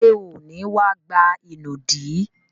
Ṣé ò ní wá gba ìnùdí?